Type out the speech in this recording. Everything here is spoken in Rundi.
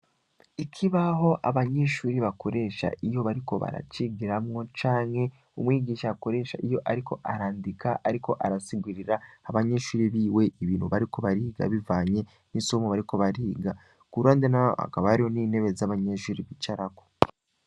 Ikibaho abanyeshuri bakoresha iyo bariko baracigiramwo canke umwigisha akoresha iyo ariko arandika ariko arasigurira abanyeshuri biwe ibintu bariko bariga bivanye n'isomo bariko bariga, ku ruhande naho hakaba hariho n'intebe z'abanyeshuri bicarako.